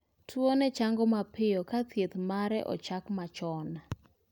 Tuo ni chango mapiyo ka chieth mare ochak machon